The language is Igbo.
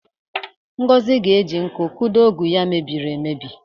Ngozi ga-eji ntu kụdo ọ́gụ̀ ya mebiri emebi.